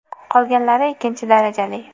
Qolganlari ikkinchi darajali.